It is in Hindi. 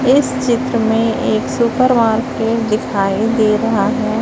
इस चित्र में एक सुपर मार्केट दिखाई दे रहा हैं।